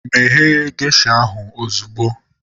Meghe gesha ahu ozugbo!